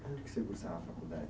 Onde que você cursava a faculdade?